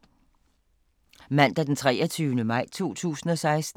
Mandag d. 23. maj 2016